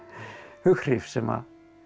hughrif sem